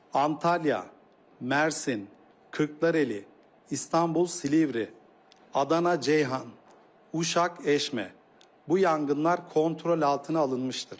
Antalya, Mersin, Kırxlareli, İstanbul, Silivri, Adana, Ceyhan, Uşaq, Eşmə, bu yanğınlar kontrol altına alınmışdır.